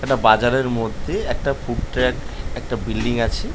একটা বাজারের মধ্যে একটা ফুডট্রাক একটা বিল্ডিং আছে।